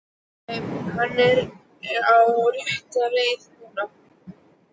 Nei, hann er á réttri leið núna.